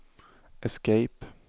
escape